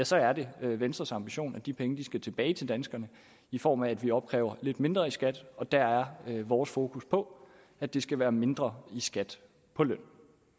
så er det venstres ambition at de penge skal tilbage til danskerne i form af at vi opkræver lidt mindre i skat og der er vores fokus på at det skal være mindre i skat på løn